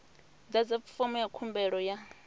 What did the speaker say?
ḓadza fomo ya khumbelo ya